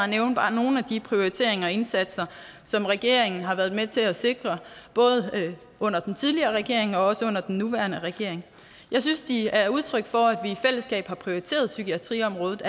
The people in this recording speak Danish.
nævne bare nogle af de prioriteringer og indsatser som regeringen har været med til at sikre både under den tidligere regering og også under den nuværende regering jeg synes de er udtryk for at vi i fællesskab har prioriteret psykiatriområdet